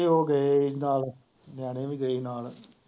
ਤੇ ਉਹ ਗਏ ਹੀ ਨਾਲ, ਨਿਆਣੇ ਵੀ ਗਏ ਹੀ ਨਾਲ।